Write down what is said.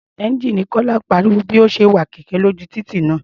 Ẹ́ńjíìnì Kọ́lá pariwo bí ó ṣe ń wa kẹ̀kẹ́ lójú títì ńlá.